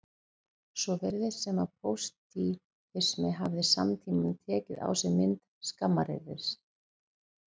Svo virðist sem að pósitífismi hafi í samtímanum tekið á sig mynd skammaryrðis.